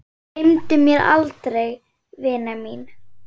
Gleymdu mér aldrei vina mín.